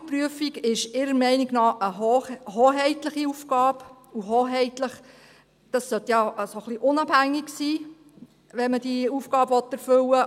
Die Fahrzeugprüfung ist ihrer Meinung nach eine hoheitliche Aufgabe, und hoheitlich sollte unabhängig sein, wenn man diese Aufgabe erfüllen will.